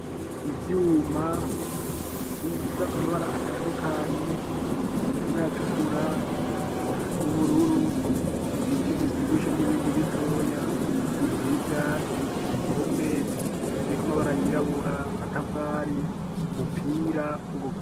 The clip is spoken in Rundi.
Ivyuma bifise amabara atandukanye harimwo ayatukura, ay’ubururu, ibiti bivyibushe n'ibindi bitoya inzu y'ivyatsi impome ziriko amabara yirabura, amatafari, umupira.